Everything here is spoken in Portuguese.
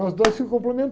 Nós dois se